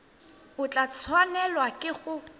o tla tshwanelwa ke go